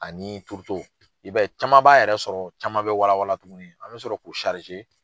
Ani turuto i b'a ye caman b'a yɛrɛ sɔrɔ caman bɛ wala wala tuguni an bɛ sɔrɔ k'u